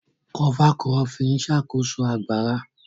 Kọfa kurópìn n ṣákóso ogbarà.